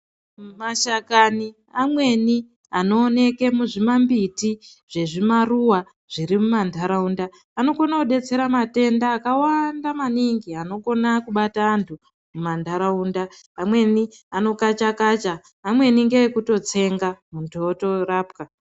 Mashakani amweni anoonekwa muzvimambiti nezvimaruwa zviri mumanharaunda zvinokona kudetsera matenda akawanda maningi anokona kubata anhu mumanharaunda amweni anokacha kacha amweni ngeekutotsenga munhu otorapwa.